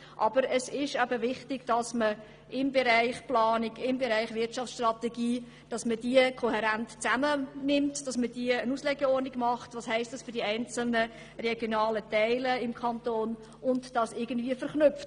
Aber es ist wichtig, dass man die Bereiche Planung und Wirtschaftsstrategie kohärent zusammennimmt, eine Auslegeordnung macht und die Elemente irgendwie verknüpft: